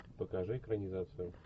покажи экранизацию